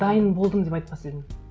дайын болдым деп айтпас едім